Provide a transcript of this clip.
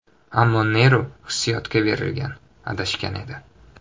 Ammo Neru hissiyotga berilgan, adashgan edi.